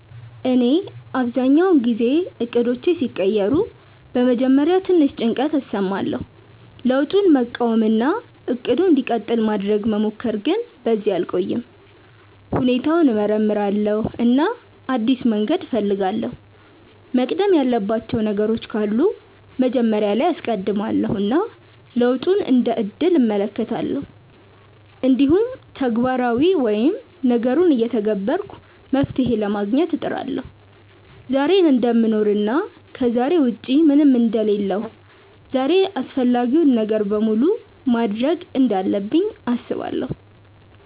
እኔ አብዛኛውን ጊዜ እቅዶቼ ሲቀየሩ በመጀመሪያ ትንሽ ጭንቀት እሰማለሁ፣ ለውጡን መቃወም እና “እቅዱ እንዲቀጥል” ማድረግ መሞከር፣ ግን በዚያ አልቆይም። ሁኔታውን እመርምራለሁ እና አዲስ መንገድ እፈልጋለሁ፤ መቅደም ያለባቸው ነገሮች ካሉ መጀመሪያ ላይ አስቀድማለው እና ለውጡን እንደ እድል እመለከታለሁ። እንዲሁም ተግባራዊ ወይም ነገሩን እየተገበርኩ መፍትሄ ለማግኘት እጥራለሁ። ዛሬን እደምኖር እና ከዛሬ ውጪ ምንም አንደ ሌለሁ ዛሬን አፈላጊውን ነገር በሙሉ ማድርግ እንዳለብኝ አስባለው።